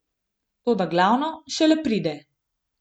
Toda glavno šele pride.